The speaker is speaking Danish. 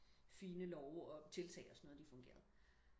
fine love og tiltag og sådan noget de fungerede